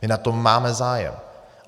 My na tom máme zájem.